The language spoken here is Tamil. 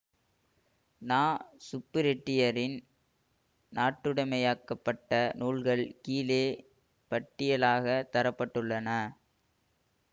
ந சுப்புரெட்டியரின் நாட்டுடைமையாக்கப்பட்ட நூல்கள் கீழே பட்டியலாகத் தர பட்டுள்ளன